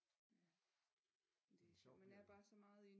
Man er bare så meget i